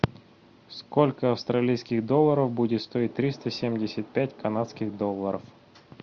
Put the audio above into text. сколько австралийских долларов будет стоить триста семьдесят пять канадских долларов